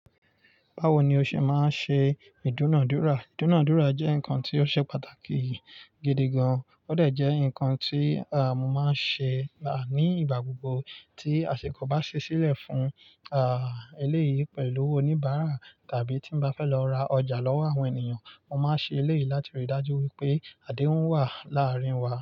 Báwo ni o ṣe máa ń ṣe ìdúnadúrà? Ìdúnadúrà jẹ́ nǹkan tí ó ṣe pàtàkì gidi gan. Ó dà jẹ́ nǹkan tí, à, mo máa ń ṣe, à, nígbà gbogbo tí àsìkò bá ṣẹ́ sílẹ̀ fún, à, eléyìí pẹ̀lú oníbàárà tàbí tí mo bá fẹ́ lọ ra ọjà lọ́wọ́ àwọn ènìyàn. Mo máa ń ṣe eléyìí láti rí i dájú wípé adéhuń wà láàárín wa.